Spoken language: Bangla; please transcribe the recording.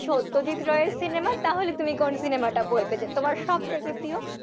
সত্যজিৎ রায়ের cinema তাহলে তুমি কোন cinema টা বলবে যে তোমার সব থেকে প্রিয়?